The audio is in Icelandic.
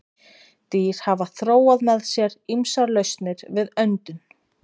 Dýr hafa þróað með sér ýmsar lausnir við öndun.